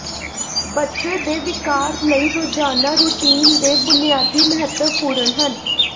ਬੱਚੇ ਦੇ ਵਿਕਾਸ ਲਈ ਰੋਜ਼ਾਨਾ ਰੁਟੀਨ ਦੇ ਬੁਨਿਆਦੀ ਮਹੱਤਵਪੂਰਨ ਹਨ